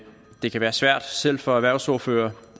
det kan være svært selv for erhvervsordførere